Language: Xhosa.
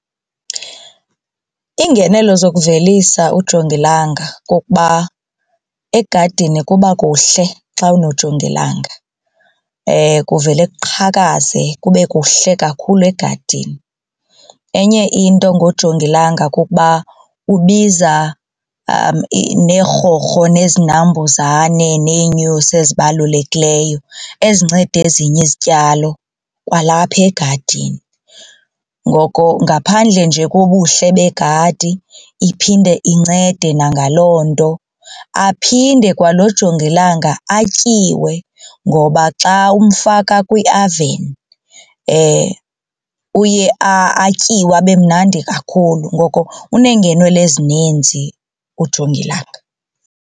Iingenelo zokuvelisa ujongilanga kukuba egadini kuba kuhle xa unojongilanga kuvele kuqhakaze kube kuhle kakhulu egadini. Enye into ngojongilanga kukuba ubiza neerhorho nezinambuzane neenyosi ezibalulekileyo ezinceda ezinye izityalo kwalapha egadini ngoko ngaphandle nje kobuhle begadi iphinde incede nangaloo nto. Aphinde kwalo jongilanga atyiwe ngoba xa umfaka kwiaveni uye atyiwe abemnandi kakhulu ngoko unengenelo ezininzi ujongilanga.